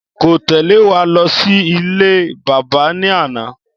Kò téle wa lọ sí ilé bábà ní àná